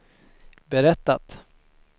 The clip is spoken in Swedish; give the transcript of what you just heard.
berättat